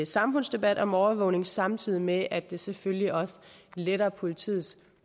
samfundsdebat om overvågning samtidig med at det selvfølgelig også letter politiets